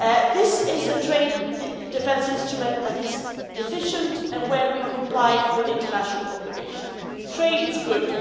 This is a trade defence instrument that is efficient, and where we comply with international obligations. Trade is good